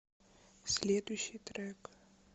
следующий трек